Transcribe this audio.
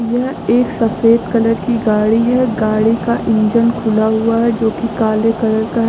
यह एक सफेद कलर की गाड़ी है गाड़ी का इंजन खुला हुआ है जो कि काले कलर का है।